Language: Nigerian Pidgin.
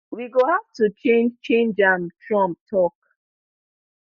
we go have to change change am trump tok